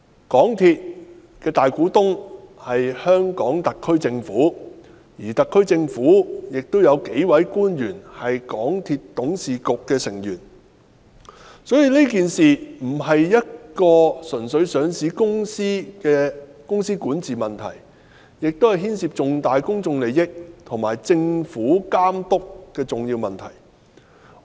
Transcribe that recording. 港鐵公司的大股東是香港特別行政區政府，而特區政府亦有數位官員是港鐵公司董事局的成員，所以此事並非單純是一間上市公司的管治問題，亦牽涉重大的公眾利益和政府監督等重要問題。